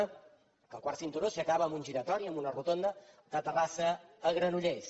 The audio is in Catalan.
en què el quart cinturó s’acaba en un giratori en una rotonda de terrassa a granollers